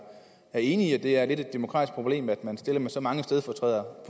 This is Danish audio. enig i at det er lidt af et demokratisk problem at man stiller med så mange stedfortrædere på